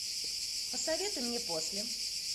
посоветуй мне после